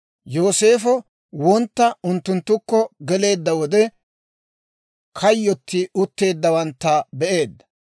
Yooseefo wontta unttunttukko geleedda wode, kayyoti utteeddawantta be'eedda.